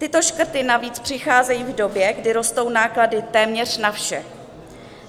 Tyto škrty navíc přicházejí v době, kdy rostou náklady téměř na vše.